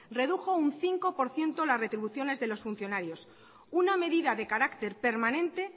redujo un cinco por ciento las retribuciones de los funcionarios una medida de carácter permanente